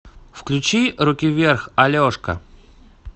включи руки вверх алешка